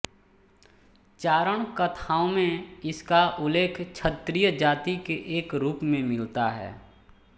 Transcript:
चारण कथाओं में इसका उल्लेख क्षत्रिय जाति के एक रूप में मिलता है